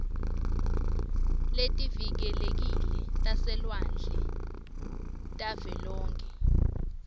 letivikelekile taselwandle tavelonkhe